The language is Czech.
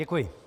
Děkuji.